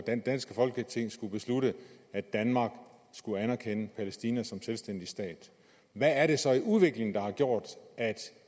det danske folketing skulle beslutte at danmark skal anerkende palæstina som selvstændig stat hvad er det så i udviklingen der har gjort at